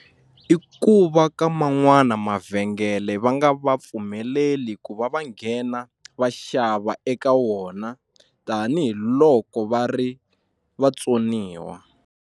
I ku va ka man'wana mavhengele va nga va pfumeleli ku va va nghena va xava eka wona tanihiloko va ri vatsoniwa.